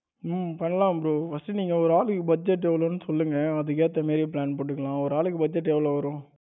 உம் பண்ணலாம் bro first நீங்க ஒரு ஆளுக்கு budget எவ்வளவுன்னு சொல்லுங்க அதுக்கு ஏத்த மாதிரியே plan போட்டுக்கலாம். ஒரு ஆளுக்கு budget எவ்வளவு வரும்?